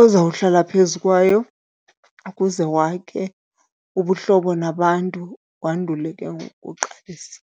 ozawuhlala phezu kwayo ukuze wakhe ubuhlobo nabantu wandule ke ngoku uqalise.